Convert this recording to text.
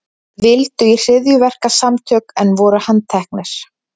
Vildu í hryðjuverkasamtök en voru handteknir